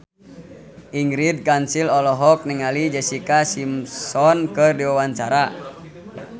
Ingrid Kansil olohok ningali Jessica Simpson keur diwawancara